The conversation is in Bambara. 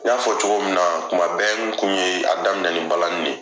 N y'a fɔ cogo min na, kuma bɛɛ n kun ye a daminɛ balani ye.